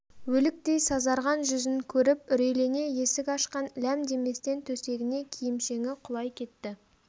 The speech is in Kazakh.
өліктей сазарған жүзін көріп үрейлене есік ашқан ләм деместен төсегіне киімшеңі құлай кетті